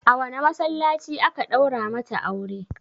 A wane masallaci aka ɗaura mata aure?